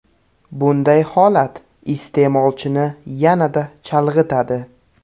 Bunday holat iste’molchini yanada chalg‘itadi.